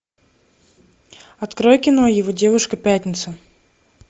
открой кино его девушка пятница